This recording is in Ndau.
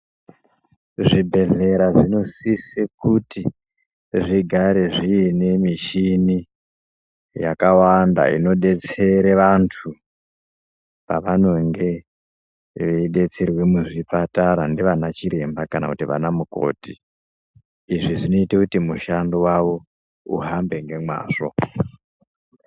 Zvibhedhlera zvinosise kuti zvigare zviinemuchini yakawanda inodetsere vantu pavanenge veidetserwe muchipatara ndiana chiremba kana anamukoti izvi zvinoita kuti mushando wawo uhambe ngemazvo.